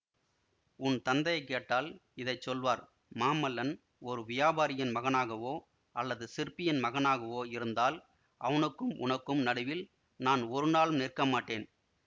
உன் தந்தையைக் கேட்டால் இதை சொல்வார் மாமல்லன் ஒரு வியாபாரியின் மகனாகவோ அல்லது சிற்பியின் மகனாகவோ இருந்தால் அவனுக்கும் உனக்கும் நடுவில் நான் ஒருநாளும் நிற்க மாட்டேன்